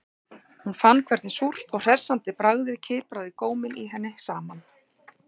Hún fann hvernig súrt og hressandi bragðið kipraði góminn í henni saman